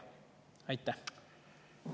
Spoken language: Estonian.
Aitäh!